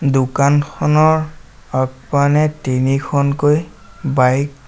দোকানখনৰ আগপানে তিনিখনকৈ বাইক --